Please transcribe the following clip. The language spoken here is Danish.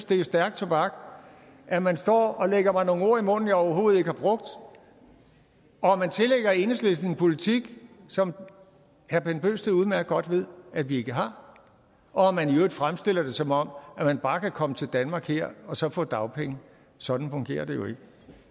det er stærk tobak at man står og lægger mig nogle ord i munden jeg overhovedet ikke har brugt og at man tillægger enhedslisten en politik som herre bent bøgsted udmærket godt ved at vi ikke har og at man i øvrigt fremstiller det som om man bare kan komme til danmark og så få dagpenge sådan fungerer det jo ikke